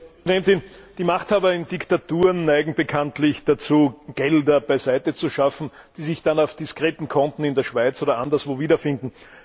Frau Präsidentin! Die Machthaber in Diktaturen neigen bekanntlich dazu, Gelder beiseite zu schaffen, die sich dann auf diskreten Konten in der Schweiz oder anderswo wiederfinden.